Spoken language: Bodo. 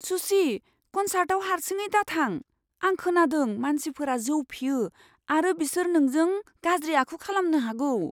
सुची। कनसार्टआव हारसिङै दाथां। आं खोनादों मानसिफोरा जौ फेयो आरो बिसोर नोंजों गाज्रि आखु खालामनो हागौ।